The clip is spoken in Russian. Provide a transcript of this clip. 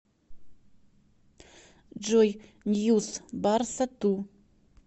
джой ньюс барса ту